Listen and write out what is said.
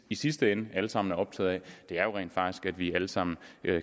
i sidste ende alle sammen er optaget af er jo rent faktisk vi alle sammen